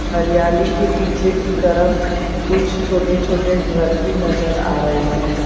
हरियाली के पीछे की तरफ कुछ छोटे छोटे घर भी नजर आ रहे हैं।